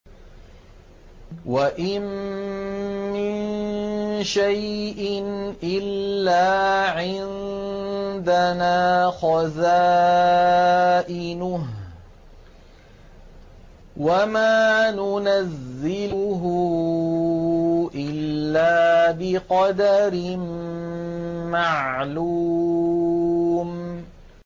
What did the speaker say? وَإِن مِّن شَيْءٍ إِلَّا عِندَنَا خَزَائِنُهُ وَمَا نُنَزِّلُهُ إِلَّا بِقَدَرٍ مَّعْلُومٍ